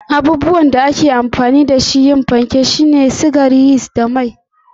Abubuwan da ake amfani da su don yin fanke sune gari, sukari, yist da mai don suya.